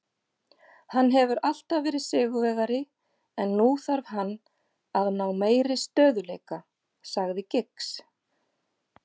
Hann hefur alltaf verið sigurvegari en nú þarf hann að ná meiri stöðugleika, sagði Giggs.